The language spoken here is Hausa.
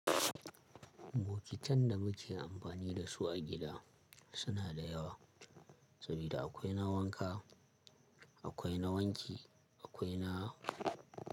Bokitan da muke amfani da su a gida suna da yawa saboda akwai na wanka akwai na wanki akwai na.